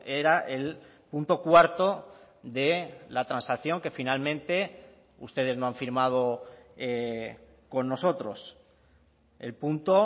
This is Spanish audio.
era el punto cuarto de la transacción que finalmente ustedes no han firmado con nosotros el punto